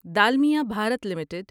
Dalmia Bharat limited